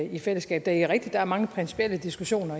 i fællesskab det er rigtigt at der er mange principielle diskussioner